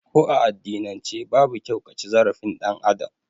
Ko a addinan ce babu kyau kaci zarafin ɗan Adam